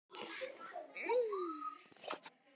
Við þurfum þess ekki.